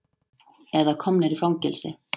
Eða komnir í fangelsi.